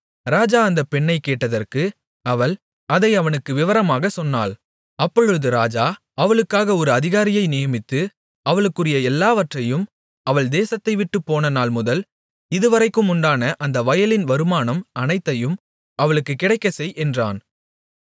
ராஜா அந்த பெண்ணைக் கேட்டதற்கு அவள் அதை அவனுக்கு விவரமாகச் சொன்னாள் அப்பொழுது ராஜா அவளுக்காக ஒரு அதிகாரியை நியமித்து அவளுக்குரிய எல்லாவற்றையும் அவள் தேசத்தைவிட்டுப் போன நாள்முதல் இதுவரைக்கும் உண்டான அந்த வயலின் வருமானம் அனைத்தையும் அவளுக்குக் கிடைக்கச் செய் என்றான்